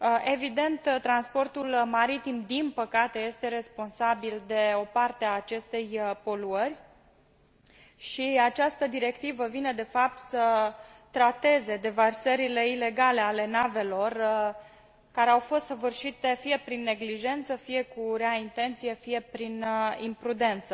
Evident, transportul maritim, din păcate, este responsabil de o parte a acestei poluări și această directivă vine de fapt să trateze deversările ilegale ale navelor, care au fost săvârșite fie prin neglijență, fie cu rea intenție, fie prin imprudență.